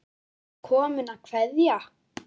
Ertu kominn að kveðja?